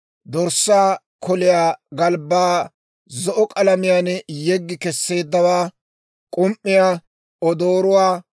dorssaa koliyaa galbbaa zo'o k'alamiyaan yeggi kesseeddawaa, k'um"iyaa, odooruwaa,